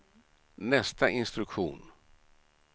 nästa instruktion